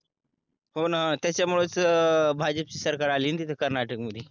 हो ना त्याच्यामुळेच भाजप ची सरकार अली ना तिथे कर्नाटक मध्ये